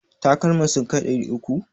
Takalman sun kai ɗari uku?